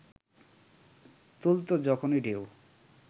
তুলতো যখন ঢেউ